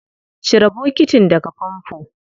Cire bokitin daga famfo.